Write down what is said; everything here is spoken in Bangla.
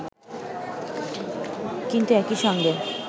কিন্তু একই সঙ্গে